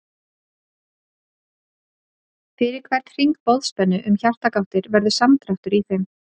Fyrir hvern hring boðspennu um hjartagáttir verður samdráttur í þeim.